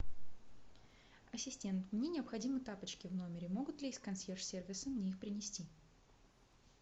ассистент мне необходимы тапочки в номере могут ли из консьерж сервиса мне их принести